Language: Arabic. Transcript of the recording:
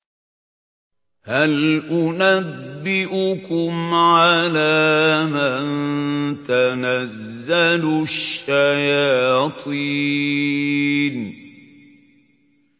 هَلْ أُنَبِّئُكُمْ عَلَىٰ مَن تَنَزَّلُ الشَّيَاطِينُ